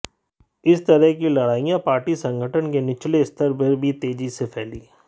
इस तरह की लड़ाइयां पार्टी संगठन के निचले स्तर पर भी तेजी से फैलीं